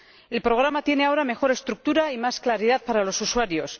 El programa tiene ahora mejor estructura y más claridad para los usuarios